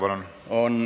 Palun!